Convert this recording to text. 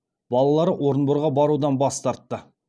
балалары орынборға барудан бас тартты